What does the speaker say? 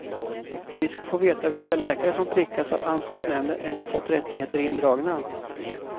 Vi ska få veta vilka läkare som prickats av ansvarsnämnden eller fått rättigheter indragna.